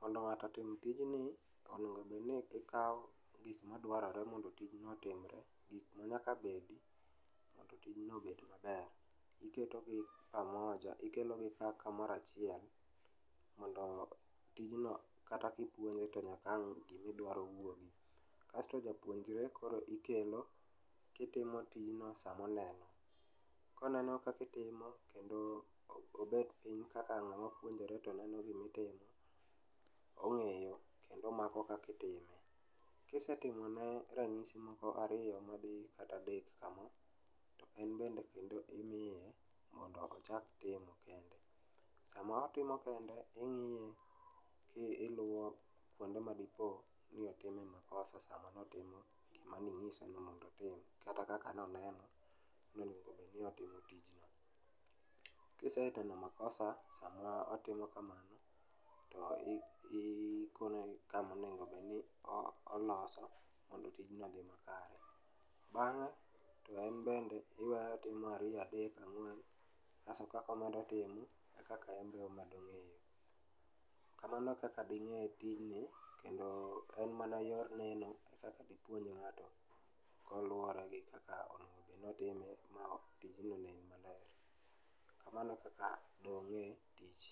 Mondo ng'ato otim tijni, onego obedni ikawo gik madwarore mondo tijno otimre, gik ma nyaka bedi mondo tijno obed maber. Iketogi pamoja, ikelogi ka kamorachiel mondo tijno kata kipuonjo to nyaka ang' gimidwaro wuogi. Kasto japuonjre koro ikelo kitimo tijno samoneno. Koneno kakitimo kendo obet piny kaka ng'ama puonjore to neno gimitimo, ong'eyo, koro omako kakitime. Kisetimone ranyisi moko ariyo madhi kata adek kama, to en bende kendo imiye mondo ochak timo kende. Sama otimo kende ing'iye to iluwo kuonde ma dipo ni otime makosa sama notimo gima ning'ise ni mondo otim kata noneno kakonego bedni otimo tijno. Kiseneno makosa sama otimo kamano, to ikone kamonegobedni oloso mando tinjo oshi makare. Bang'e to en bende iweye otimo ariyo adek ang'wen, kaso kakomedo timo e kaka en be omedo ng'eyo. Kamano e kaka ding'e tijni kendo en mana yor neno e kaka dipuonj ng'ato koluwore gi kaka onegobedni otime ma tijno onen maler. Kamno e kaka dong'e tich.